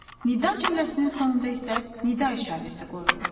Nida cümləsinin sonunda isə nida işarəsi qoyulur.